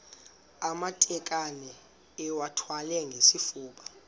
amatakane iwathwale ngesifuba